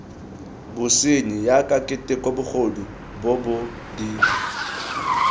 bosenyi jaaka keteko bogodu bobod